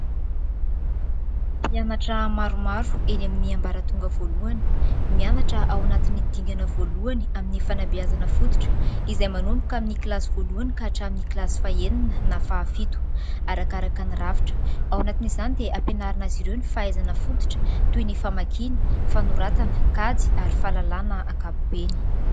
Mpianatra maromaro eny amin'ny ambaratonga voalohany, mianatra ao anatiny dingana voalohany izay fanabeazana fototra izay manomboka amin'ny kilasy voalohany ka hatramin'ny kilasy fahaenina na fahafito arakaraka ny rafitra, ao anatin'izany dia ampianarina azy ireo ny fahaizana fototra toy ny famakiana, fanoratana, kajy ary fahalalàna ankapobeny.